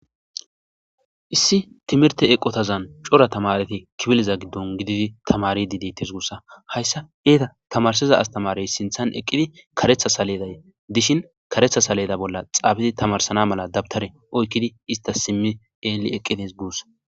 Issi timirte eqotaza cora tamareti kifile gidi za gididi tamaridi detes gusane tamarsiza asatamareti tamarsishi karetha saledaza bolla tarisidi de'izaysa dawuteraza oykidi ista xeli eqides gusa